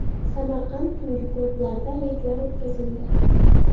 Samarqand tungi klublarida reydlar o‘tkazildi.